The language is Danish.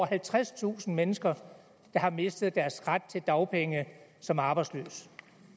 halvtredstusind mennesker der har mistet deres ret til dagpenge som arbejdsløse